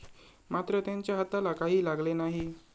मात्र त्यांच्या हाताला काही लागले नाही.